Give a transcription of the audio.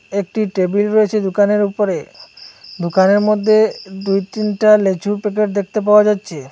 একটি টেবিল রয়েছে দোকানের উপরে দোকানের মদ্যে দুই তিনটা লেচুর প্যাকেট দেখতে পাওয়া যাচ্ছে।